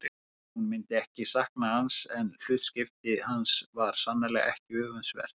Hún myndi ekki sakna hans en hlutskipti hans var sannarlega ekki öfundsvert.